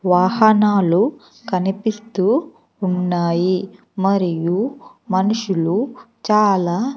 వాహనాలు కనిపిస్తూ ఉన్నాయి మరియు మనుషులు చాలా--